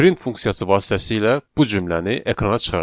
Print funksiyası vasitəsilə bu cümləni ekrana çıxardaq.